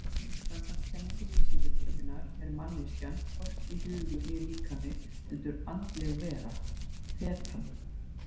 Samkvæmt kenningum Vísindakirkjunnar er manneskjan hvorki hugur né líkami heldur andleg vera, þetan.